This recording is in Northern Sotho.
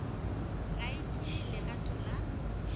ga e tšee legato la